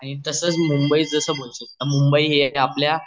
आणि तसाच मुंबई जस मुंबई हे एक आपलया